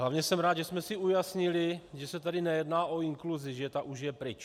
Hlavně jsem rád, že jsme si ujasnili, že se tady nejedná o inkluzi, že ta už je pryč.